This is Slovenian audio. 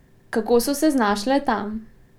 Kako so se znašle tam?